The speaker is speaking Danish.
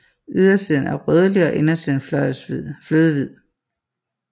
Ydersiden er rødlig og indersiden flødehvid